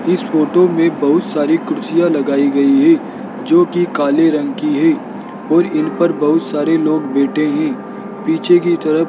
इस फोटो में बहुत सारी कुर्सियां लगाई गई है जोकि काले रंग की है और इन पर बहुत सारे लोग बैठे हैं पीछे की तरफ --